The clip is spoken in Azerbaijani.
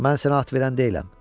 Mən sənə at verən deyiləm.